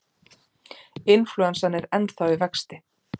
Inflúensan er ennþá í vexti.